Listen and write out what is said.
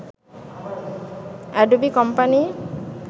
Adobe company